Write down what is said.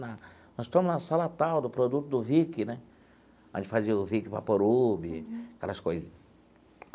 Na nós estamos na sala tal, do produto do Vick né, a gente fazia o Vick Vaporub, aquelas coisas.